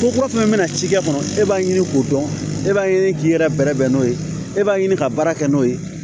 Ko kura fɛnɛ bɛna cikɛ kɔnɔ e b'a ɲini k'o dɔn e b'a ye k'i yɛrɛ bɛrɛ bɛn n'o ye e b'a ɲini ka baara kɛ n'o ye